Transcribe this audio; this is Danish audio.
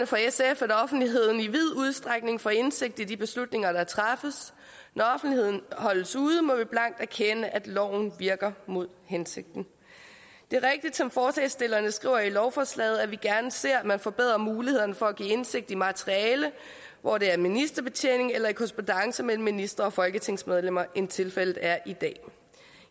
for sf at offentligheden i vid udstrækning får indsigt i de beslutninger der træffes når offentligheden holdes ude må vi blankt erkende at loven virker mod hensigten det er rigtigt som forslagsstillerne skriver i lovforslaget at vi gerne ser at man får bedrer muligheder for at give indsigt i materiale hvor det er ministerbetjening eller i korrespondance mellem ministre og folketingsmedlemmer end tilfældet er i dag